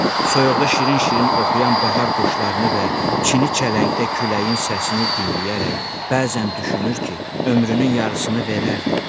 Soyuqda şirin-şirin oxuyan bahar quşlarını və çini çələngdə küləyin səsini dinləyərək bəzən düşünür ki, ömrünün yarısını verərdi.